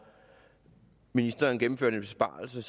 ministeren gennemførte en besparelse